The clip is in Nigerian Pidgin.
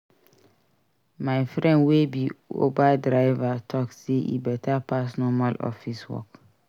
My friend wey be Uber driver tok sey e beta pass normal office work.